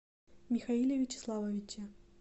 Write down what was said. михаиле вячеславовиче